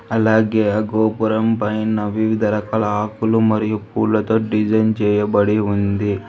అలాగే ఆ గోపురం పైన వివిధ రకాల ఆకులు మరియు పూలతో డిజైన్ చేయబడి ఉంది.